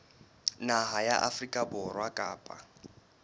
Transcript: naha ya afrika borwa kapa